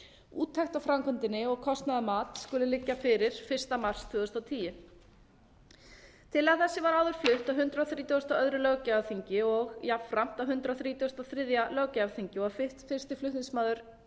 úttekt á framkvæmdinni og kostnaðarmat skuli liggja fyrir fyrsta mars tvö þúsund og tíu tillaga þessi var áður flutt á hundrað þrítugasta og öðrum löggjafarþingi og jafnframt á hundrað þrítugasta og þriðja löggjafarþingi og var fyrsti flutningsmaður